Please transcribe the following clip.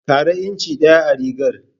Ƙara inci ɗaya a rigar.